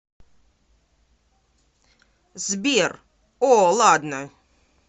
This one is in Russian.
сбер о ладно